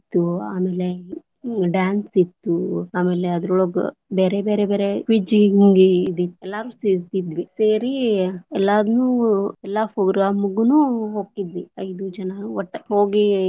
ಇತ್ತು ಆಮೇಲೆ dance ಇತ್ತು, ಆಮೇಲೆ ಅದ್ರವಳಗ ಬೇರೆ ಬೇರೆ ಬೇರೆ quiz ಹಿಂಗ ಇತ್ತ ಎಲ್ಲರೂ ಸೇರ್ತಿದ್ವಿ, ಸೇರಿ ಎಲ್ಲಾನು ಎಲ್ಲಾ program ಗುನು ಹೋಗತಿದ್ವಿ ಐದು ಜನಾನ್ ವಟ್ಟ ಹೋಗಿ.